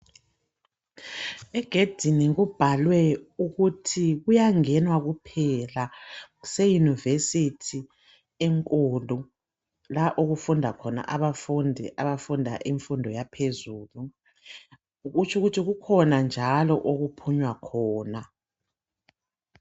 Egedini kubhalwe ukuthi kuyangenwa kuphela. Kuse university enkulu la okufunda khona abafundi abafunda imfundo yaphezulu. Kutshu ukuthi kukhona njalo okuphunywa khona.